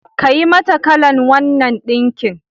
Kayi mata kalan wannan ɗinkin.